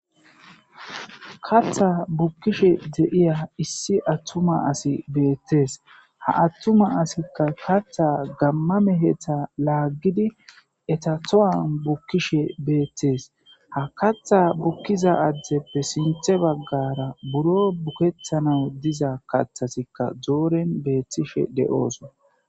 kattha bukkishe de7iya issi attuma asi beettees ha attuma asikka katha gammame hetha laaggidi etato7an bukkishe beettes ha katha bukkiza addeppe sinthe baggara buro bukettana diza kathasikka dooren beettishe de7ooson